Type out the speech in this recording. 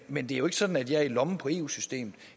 men det er jo ikke sådan at jeg er i lommen på eu systemet